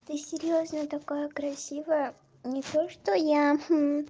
ты серьёзная такая красивая не то что я